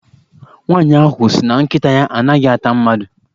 Nwaanyị ahụ sị na nkịta ya a naghị ata mmadụ.